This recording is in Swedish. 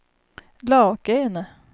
Lakene